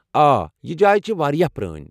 آ، یہ جاے چھےٚ واریاہ پرٛٲنۍ ۔